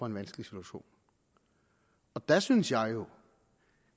en vanskelig situation der synes jeg